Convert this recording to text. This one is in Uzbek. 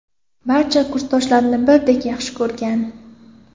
Barcha kursdoshlarini birdek yaxshi ko‘rgan.